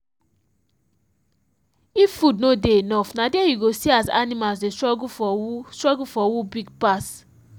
if food no dey enough na there you go see as animals dey struggle for who struggle for who big pass.